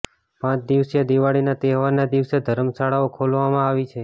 પાંચ દિવસીય દિવાળીના તહેવારના દિવસે ધર્મશાળાઓ ખોલવામાં આવી છે